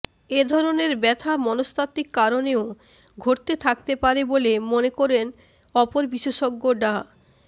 এ ধরেনের ব্যথা মনস্তাত্ত্বিক কারণেও ঘটে থাকতে পারে বলে মনে করেন অপর বিশেষজ্ঞ ডা